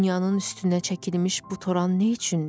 Dünyanın üstünə çəkilmiş bu toran nə üçündü?